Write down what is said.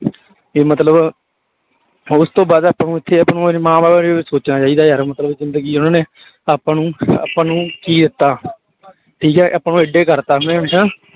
ਤੇ ਮਤਲਬ ਉਸ ਤੋਂ ਬਾਅਦ ਆਪਾਂ ਨੂੰ ਇੱਥੇ ਮਾਂ ਬਾਪ ਬਾਰੇ ਵੀ ਸੋਚਣਾ ਚਾਹੀਦਾ ਯਾਰ ਮਤਲਬ ਜ਼ਿੰਦਗੀ ਉਹਨਾਂ ਨੇ ਆਪਾਂ ਨੂੰ ਆਪਾਂ ਕੀ ਦਿੱਤਾ ਠੀਕ ਹੈ ਆਪਾਂ ਨੂੰ ਇੱਡੇ ਕਰ ਦਿੱਤਾ